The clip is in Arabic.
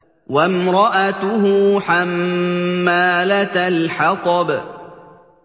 وَامْرَأَتُهُ حَمَّالَةَ الْحَطَبِ